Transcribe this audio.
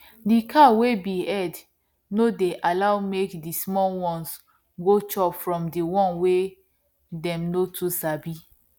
the cow wey be head no dey allow make the small ones go chop from the one wey them no too sabi